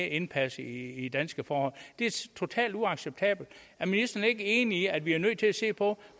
indpasset i danske forhold det er totalt uacceptabelt er ministeren ikke enig i at vi er nødt til at se på